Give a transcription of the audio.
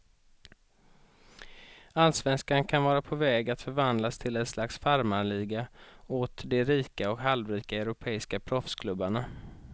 Allsvenskan kan vara på väg att förvandlas till ett slags farmarliga åt de rika och halvrika europeiska proffsklubbarna.